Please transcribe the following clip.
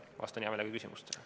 Vastan hea meelega küsimustele.